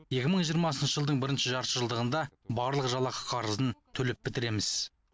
екі мың жиырмасыншы жылдың бірінші жартыжылдығында барлық жалақы қарызын төлеп бітіреміз